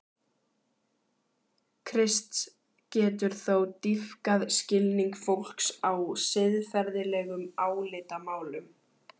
Krists getur þó dýpkað skilning fólks á siðferðilegum álitamálum.